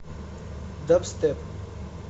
дабстеп